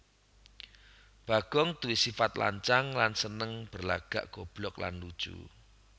Bagong duwé sifat lancang lan seneng berlagak goblok lan lucu